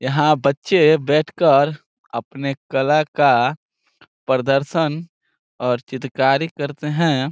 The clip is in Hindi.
यहा बच्चे बैठ कर अपने कला का प्रदर्शन और चित्रकारी करते हैं।